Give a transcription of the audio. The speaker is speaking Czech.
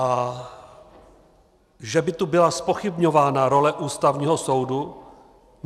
A že by tu byla zpochybňována role Ústavního soudu?